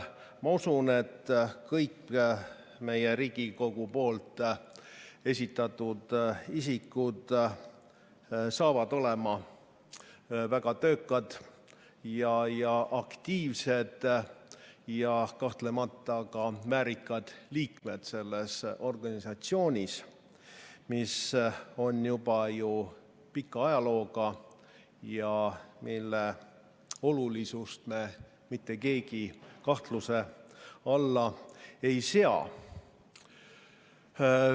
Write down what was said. Ma usun, et kõik meie Riigikogu esitatud isikud on väga töökad, aktiivsed ja kahtlemata ka väärikad liikmed selles organisatsioonis, mis on juba pika ajalooga ja mille olulisust meist mitte keegi kahtluse alla ei sea.